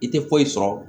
I tɛ foyi sɔrɔ